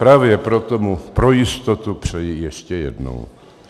Právě proto mu pro jistotu přeji ještě jednou.